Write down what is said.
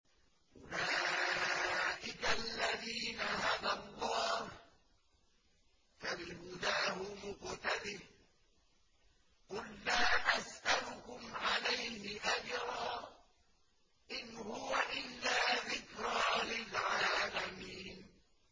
أُولَٰئِكَ الَّذِينَ هَدَى اللَّهُ ۖ فَبِهُدَاهُمُ اقْتَدِهْ ۗ قُل لَّا أَسْأَلُكُمْ عَلَيْهِ أَجْرًا ۖ إِنْ هُوَ إِلَّا ذِكْرَىٰ لِلْعَالَمِينَ